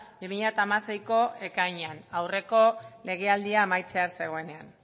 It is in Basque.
bi mila hamaseiko ekainean aurreko legealdia amaitzear zegoenean